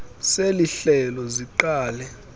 seli hlelo siqale